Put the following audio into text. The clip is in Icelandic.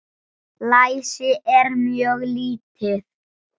Læsi er mjög lítið.